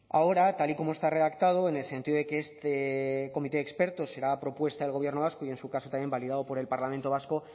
ahora tal y como está redactado en el sentido de que este comité de expertos será a propuesta del gobierno vasco y en su caso también validado por el parlamento vasco